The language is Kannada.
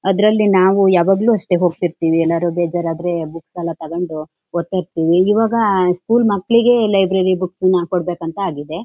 .ಅದ್ರಲ್ಲಿ ನಾವು ಯಾವಾಗ್ಲೂ ಅಷ್ಟೇ ಹೋಗತಿರ್ತಿವಿ ಏನಾದ್ರು ಬೇಜಾರ್ ಆದ್ರೆ ಬುಕ್ಸ್ ಎಲ್ಲಾ ತಗೊಂಡು ಓದ್ತಾ ಇರ್ತಿವಿ ಈವಾಗ ಸ್ಕೂಲ್ ಮಕ್ಳಿಗೆ ಲೈಬ್ರರಿ ಬುಕ್ ನ ಕೊಡ್ಬೇಕಂತ ಆಗಿದೆ